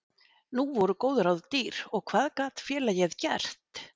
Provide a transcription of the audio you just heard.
Nú voru góð ráð dýr og hvað gat félagið gert?